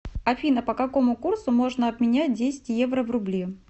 афина по какому курсу можно обменять десять евро в рубли